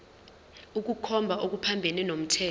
ukukhomba okuphambene nomthetho